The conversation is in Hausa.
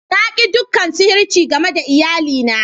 Na ki dukan sihirci game da iyali na.